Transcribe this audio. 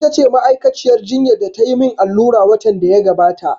Ita ce ma'aikaciyar jinya da ta yi min allura watan da ya gabata.